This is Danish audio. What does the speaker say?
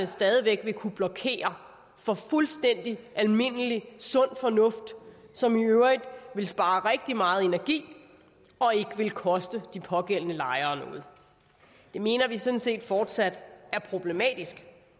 stadig væk vil kunne blokere for fuldstændig almindelig sund fornuft som i øvrigt ville spare rigtig meget energi og ikke ville koste de pågældende lejere noget det mener vi sådan set fortsat er problematisk